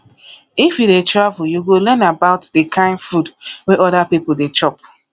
if you dey um travel you go learn about di kain food wey oda pipo dey chop